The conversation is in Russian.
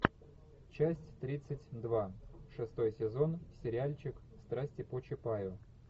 часть тридцать два шестой сезон сериальчик страсти по чапаю